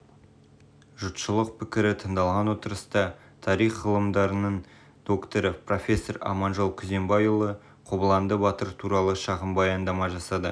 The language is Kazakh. жұртшылық пікірі тыңдалған отырыста тарих ғылымдарының докторы профессор аманжол күзембайұлы қобыланды батыр туралы шағын баяндама жасады